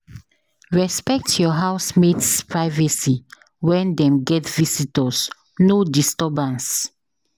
Respect your housemate’s privacy when dem get visitors; no disturbance.